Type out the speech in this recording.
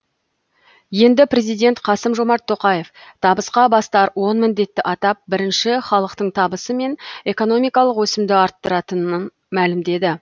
енді президент қасым жомарт тоқаев табысқа бастар он міндетті атап бірінші халықтың табысы мен экономикалық өсімді арттыратынын мәлімдеді